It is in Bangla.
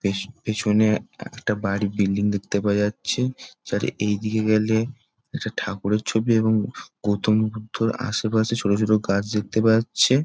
বেশ পিছনে একটা বাড়ির বিল্ডিং দেখতে পাওয়া যাচ্ছে । তার এই দিকে গেলে একটা ঠাকুরের ছবি এবং গৌতম বুদ্ধের আশেপাশে ছোটো ছোটো গাছ দেখতে পাওয়া যাচ্ছে ।